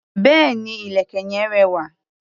Béèni, ìlẹ̀kẹ̀ yen rẹwà.